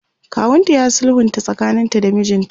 kawunta ya sulhunta tsakanin ta da mijinta